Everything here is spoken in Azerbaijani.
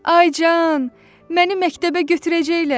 Ay can, məni məktəbə götürəcəklər!